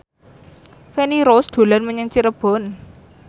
Feni Rose dolan menyang Cirebon